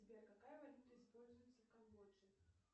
сбер какая валюта используется в камбодже